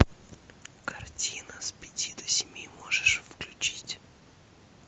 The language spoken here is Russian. картина с пяти до семи можешь включить